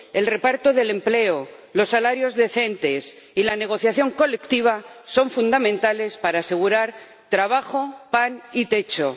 el reparto del empleo, los salarios decentes y la negociación colectiva son fundamentales para asegurar trabajo, pan y techo.